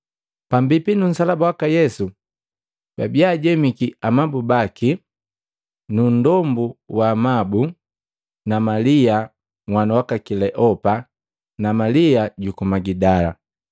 Pambipi nu nsalaba waka Yesu, babiya ajemiki na amabu baki, na nndombu wa amabu na Malia nhwanu waka Kileopa, na Malia juku Magidala.